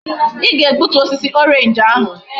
I ga egbutu osisi orange ahu!